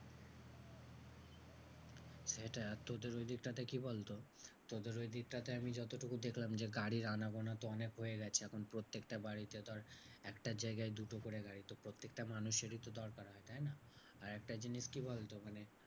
সেটা তোদের ঐদিকটাকে কি বলতো? তোদের ঐদিকটাতে আমি যতটুকু দেখলাম যে, গাড়ির আনাগোনা তো অনেক হয়ে গেছে এখন প্রত্যেকটা বাড়িতে ধর একটার জায়গায় দুটো করে গাড়ি তো প্রত্যেকটা মানুষেরই তো দরকার, তাইনা? আরেকটা জিনিস কি বলতো? মানে